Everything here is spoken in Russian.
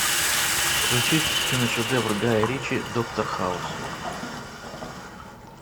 включи киношедевр гая ричи доктор хаус